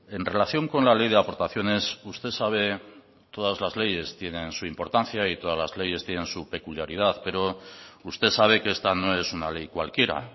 en relación con la ley de aportaciones usted sabe que todas las leyes tienen su importancia y todas las leyes tienen su peculiaridad pero usted sabe que esta no es una ley cualquiera